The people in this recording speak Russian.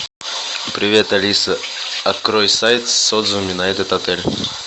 привет алиса открой сайт с отзывами на этот отель